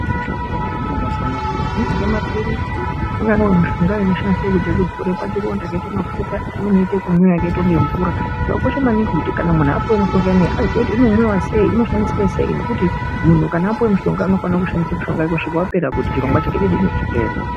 Mishonga yemazuwanaya yakasiyana siyana angange maphirizi, angangewo mishonga inoshandiswa kuite ekudzora pachironda akaite mafuta imweni yoita ekumwiwa yakaita kunge mvura zvakakosha maningi kuti kana munhu apuwe mishonga iyani aziye kuti inomwiwa sei , inoshandiswa sei ngekuti munhu kana apuwe mushonga anofanire kushandise mishonga wake kusvika wapera kuti chirongwa chake chidini chireruke.